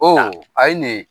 O ye nin ye